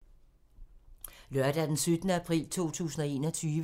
Lørdag d. 17. april 2021